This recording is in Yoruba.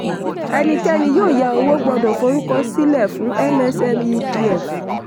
ẹnikẹ́ni yóò yá owó gbọ́dọ̀ forúkọ sílẹ̀ fún msmedf.